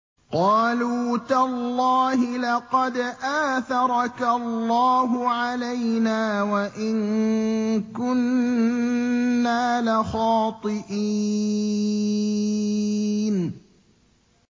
قَالُوا تَاللَّهِ لَقَدْ آثَرَكَ اللَّهُ عَلَيْنَا وَإِن كُنَّا لَخَاطِئِينَ